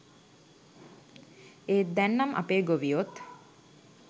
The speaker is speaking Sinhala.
ඒත් දැන්නම් අපේ ගොවියොත්